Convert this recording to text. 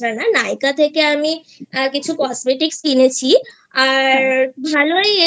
Myntra নয় Nykaa থেকে আমি কিছু Cosmetic কিনেছি আর ভালো ই